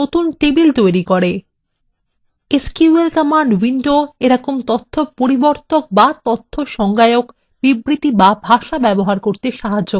এই sql command window আমাদের তথ্য পরিবর্তন এবং তথ্য সংজ্ঞা বিবৃতি বা ভাষা ব্যবহার করতে সাহায্য করে